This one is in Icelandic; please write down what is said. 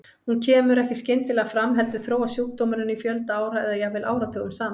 Hún kemur ekki skyndilega fram heldur þróast sjúkdómurinn í fjölda ára eða jafnvel áratugum saman.